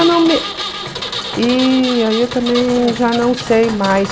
Eu não me... E aí eu também já não sei mais.